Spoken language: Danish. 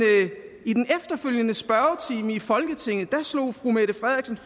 i den efterfølgende spørgetime i folketinget slog fru mette frederiksen